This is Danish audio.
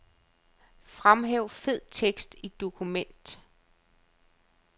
Fremhæv fed tekst i dokument.